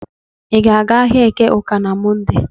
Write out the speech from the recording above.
Ị ga-aga ahịa Eke Uke na Mọnde?